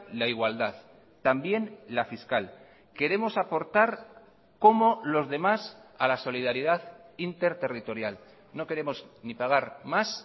la igualdad también la fiscal queremos aportar como los demás a la solidaridad interterritorial no queremos ni pagar más